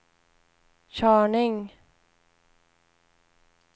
körning